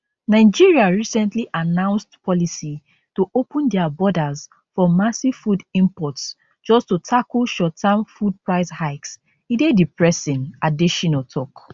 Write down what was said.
nigeria recently announced policy to open dia borders for massive food imports just to tackle shortterm food price hikes e dey depressing adesina tok